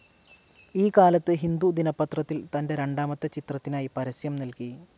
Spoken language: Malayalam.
ഈ കാലത്ത് ഹിന്ദു ദിനപത്രത്തിൽ തൻ്റെ രണ്ടാമത്തെ ചിത്രത്തിനായി പരസ്യം നൽകി.